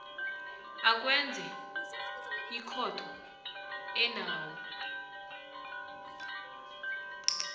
akwenze ekhotho enawo